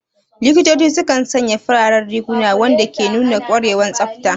Likitoci sukan sanya fararen riguna, wanda ke nuna ƙwarewa da tsafta.